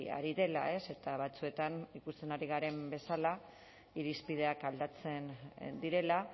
ari dela eta batzuetan ikusten ari garen bezala irizpideak aldatzen direla